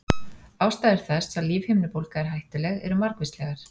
Ástæður þess að lífhimnubólga er hættuleg eru margvíslegar.